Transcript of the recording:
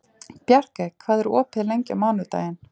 Bjarkey, hvað er opið lengi á mánudaginn?